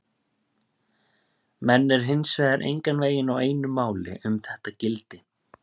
Menn eru hins vegar engan veginn á einu máli um þetta gildi.